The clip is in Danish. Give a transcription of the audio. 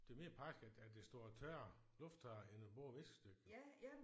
Det er mere praktisk at at det står og tørrer lufttørrer end at bruge viskestykket jo